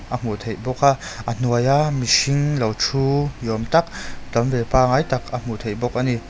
a hmuh theih bawk a a hnuaia mihring lo thu ni awm tak tam ve pangai tak a hmuh theih bawk a ni.